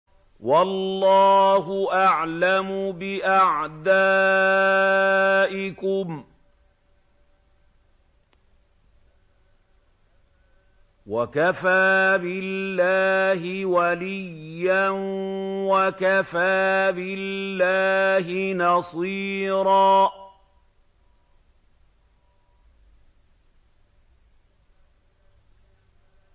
وَاللَّهُ أَعْلَمُ بِأَعْدَائِكُمْ ۚ وَكَفَىٰ بِاللَّهِ وَلِيًّا وَكَفَىٰ بِاللَّهِ نَصِيرًا